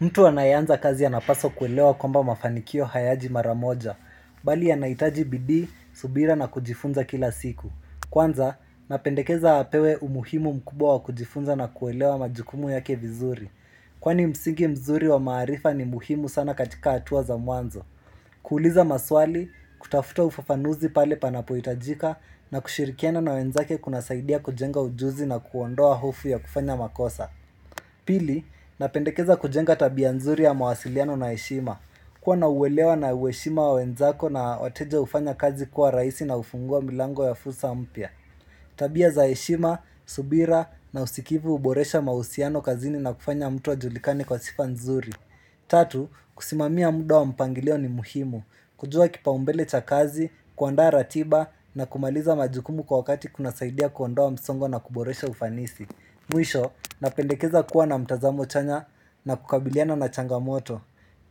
Mtu anaeanza kazi anapaswa kuelewa kwamba mafanikio hayaji maramoja, bali anaitaji bidii, subira na kujifunza kila siku. Kwanza, napendekeza apewe umuhimu mkubwa wa kujifunza na kuelewa majukumu yake vizuri. Kwani msingi mzuri wa maarifa ni muhimu sana katika atua za mwanzo. Kuuliza maswali, kutafuta ufafanuzi pale panapoitajika na kushirikiana na wenzake kuna saidia kujenga ujuzi na kuondoa hofu ya kufanya makosa. Pili, napendekeza kujenga tabia nzuri ya mawasiliano na eshima. Kuwa na uwelewa na ueshima wa wenzako na wateja ufanya kazi kuwa raisi na ufungua milango ya fusa mpya. Tabia za eshima, subira na usikivu uboresha mausiano kazini na kufanya mtu ajulikane kwa sifa nzuri. Tatu, kusimamia mda wa mpangilio ni muhimu. Kujua kipa umbele cha kazi, kuandaa ratiba na kumaliza majukumu kwa wakati kuna saidia kuondoa msongo na kuboresha ufanisi. Mwisho, napendekeza kuwa na mtazamo chanya na kukabiliana na changamoto